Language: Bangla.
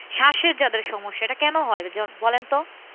স্বাসের যাদের সমস্যা এটা কেন হয় বলেন তো?